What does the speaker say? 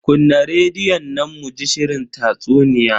Kunna rediyon nan muji shirin tatsuniya.